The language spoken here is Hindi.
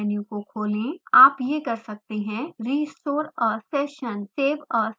आप ये कर सकते हैं: restore a session save a session